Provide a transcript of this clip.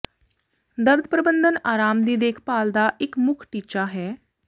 ਦਰਦ ਪ੍ਰਬੰਧਨ ਆਰਾਮ ਦੀ ਦੇਖਭਾਲ ਦਾ ਇੱਕ ਮੁੱਖ ਟੀਚਾ ਹੈ